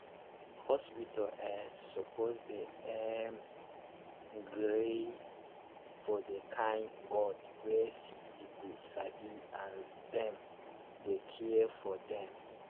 hospitas eh suppos dey erm gree for the kain god wey sicki pipu sabi as dem dey care for dem